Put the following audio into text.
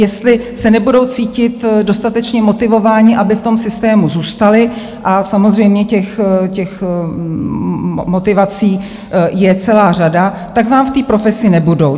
Jestli se nebudou cítit dostatečně motivováni, aby v tom systému zůstali - a samozřejmě těch motivací je celá řada - tak vám v té profesi nebudou.